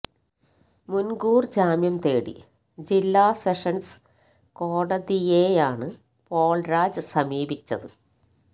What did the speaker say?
മുൻകൂർ ജാമ്യം തേടി ജില്ലാ സെഷൻസ് കോടതിയെയാണ് പോൾ രാജ് സമീപിച്ചത്